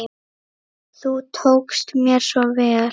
Þú tókst mér svo vel.